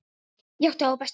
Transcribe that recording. Ég átti þá bestu.